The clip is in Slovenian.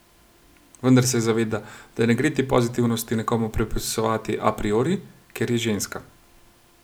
Vendar se zaveda, da ne gre te pozitivnosti nekomu pripisovati a priori, ker je ženska.